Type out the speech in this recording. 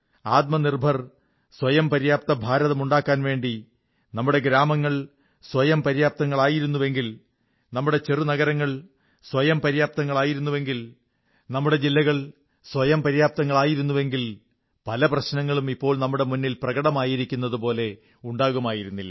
ആത്മനിർഭർ സ്വയംപര്യാപ്ത ഭാരതം ഉണ്ടാക്കാൻ വേണ്ടി നമ്മുടെ ഗ്രാമങ്ങൾ സ്വയംപര്യാപ്തങ്ങളായിരുന്നെങ്കിൽ നമ്മുടെ ചെറുനഗരങ്ങൾ സ്വയംപര്യാപ്തങ്ങളായിരുന്നെങ്കിൽ നമ്മുടെ ജില്ലകൾ സ്വയംപര്യാപ്തങ്ങളായിരുന്നെങ്കിൽ പല പ്രശ്നങ്ങളും ഇപ്പോൾ നമ്മുടെ മുന്നിൽ പ്രകടമായിരിക്കുന്നുതുപോലെ ഉണ്ടാകുമായിരുന്നില്ല